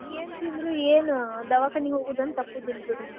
ಏನ್ ತಿಂದ್ರು ಏನ್ ದವಾಖಾನಿಗೆ ಹೋಗುದ್ ಒಂದ್ ತಪ್ಪುದಿಲ್ಲ ಬಿಡ್ರಿ.